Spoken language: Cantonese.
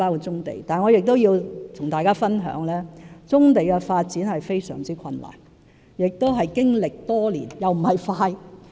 然而，我也要和大家分享，棕地發展是非常困難的工作，而且需時經年，並非快捷的方法。